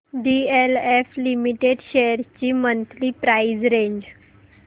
DLF limited shares ची monthly price range